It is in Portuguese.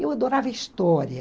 Eu adorava história.